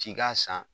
Ci k'a san